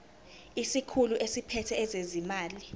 isikhulu esiphethe ezezimali